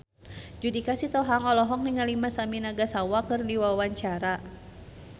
Judika Sitohang olohok ningali Masami Nagasawa keur diwawancara